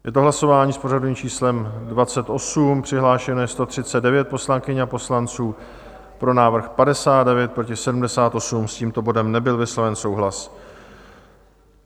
Je to hlasování s pořadovým číslem 28, přihlášeno je 139 poslankyň a poslanců, pro návrh 59, proti 78, s tímto bodem nebyl vysloven souhlas.